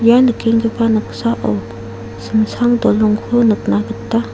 ia nikenggipa noksao simsang dolongko nikna gita--